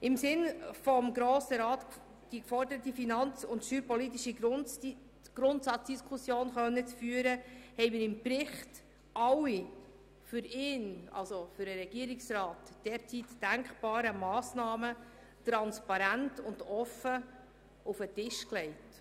Um die vom Grossen Rat geforderte finanz- und steuerpolitische Grundsatzdiskussion führen zu können, haben wir im Bericht alle für den Regierungsrat denkbaren Massnahmen transparent und offen auf den Tisch gelegt.